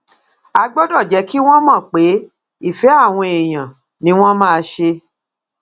a gbọdọ jẹ kí wọn mọ pé ìfẹ àwọn èèyàn ni wọn máa ṣe